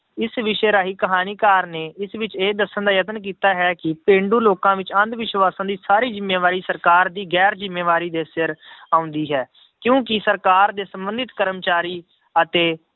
ਇਸ ਵਿਸ਼ੇ ਰਾਹੀਂ ਕਹਾਣੀਕਾਰ ਨੇ ਇਸ ਵਿੱਚ ਇਹ ਦੱਸਣ ਦਾ ਯਤਨ ਕੀਤਾ ਹੈ ਕਿ ਪੇਂਡੂ ਲੋਕਾਂ ਵਿੱਚ ਅੰਧ ਵਿਸ਼ਵਾਸ਼ਾਂ ਦੀ ਸਾਰੀ ਜ਼ਿੰਮੇਵਾਰੀ ਸਰਕਾਰ ਦੀ ਗੈਰ ਜ਼ਿੰਮੇਵਾਰੀ ਦੇ ਸਿਰ ਆਉਂਦੀ ਹੈ, ਕਿਉਂਕਿ ਸਰਕਾਰ ਦੇ ਸੰਬੰਧਤ ਕਰਮਚਾਰੀ ਅਤੇ